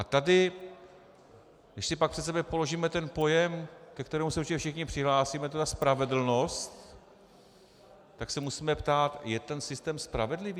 A tady, když si pak před sebe položíme ten pojem, ke kterému se určitě všichni přihlásíme, to je ta spravedlnost, tak se musíme ptát: Je ten systém spravedlivý?